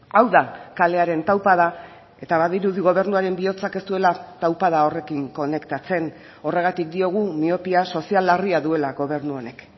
hau da kalearen taupada eta badirudi gobernuaren bihotzak ez duela taupada horrekin konektatzen horregatik diogu miopia sozial larria duela gobernu honek